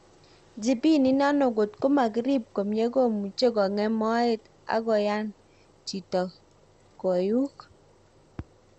Jibini inano kotko makirip komye komuche kogem moet ak koyan jito koyuuk